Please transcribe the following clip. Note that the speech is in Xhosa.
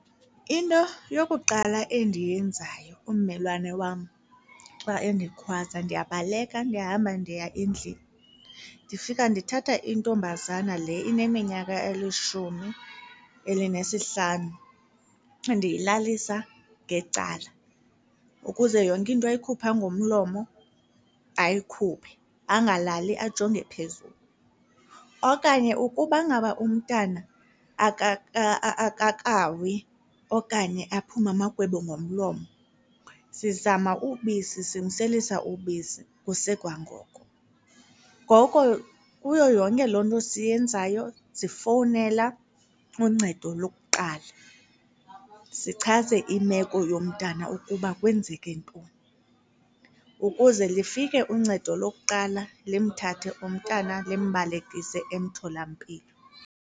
Into yokuqala endiyenzayo ummelwane wam xa endikhwaza ndiyabaleka ndihamba ndiya endlini. Ndifika ndithatha intombazana le ineminyaka elishumi elinesihlanu, ndiyilalisa ngecala ukuze yonke into ayikhupha ngomlomo ayikhuphe angalali ajonge phezulu. Okanye ukuba ngaba umntana akakawi okanye aphume amagwebu ngomlomo, sizama ubisi simselisa ubisi kusekwangoko. Ngoko kuyo yonke loo nto esiyenzayo sifowunela uncedo lokuqala sichaze imeko yomntana ukuba kwenzeke ntoni ukuze lifike uncedo lokuqala limthathe umntana limbalekise emtholampilo.